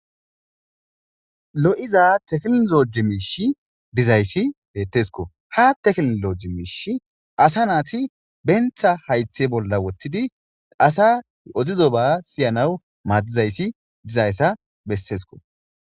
lo'iza teklinoji miishi dizayssi bettesko ha teklinloji miish asa naati benta haythe bolla woththidi asa odizoba siyanaw maaddizayssi dizayssa bessesko